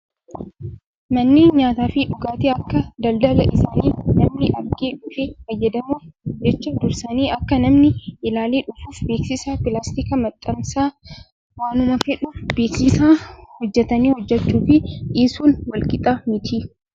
Manneen nyaataa fi dhugaatii akka daldala isaanii namni argee dhufee fayyadamuuf jecha dursanii akka namni ilaalee dhufuuf beeksisa pilaastikaa maxxansu. Waanuma fedheefuu beeksisa hojjatanii hojjachuu fi dhiisuun wal qixa miti.